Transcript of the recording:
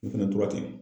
U fɛnɛ tora ten